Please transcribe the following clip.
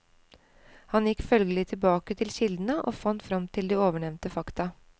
Han gikk følgelig tilbake til kildene og fant frem til de ovennevnte fakta.